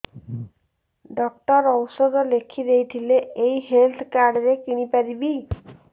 doctor ଔଷଧ ଲେଖିଦେଇଥିଲେ ଏଇ ହେଲ୍ଥ କାର୍ଡ ରେ କିଣିପାରିବି